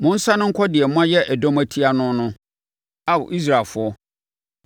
Monsane nkɔ deɛ moayɛ ɛdɔm atia no no, Ao Israelfoɔ.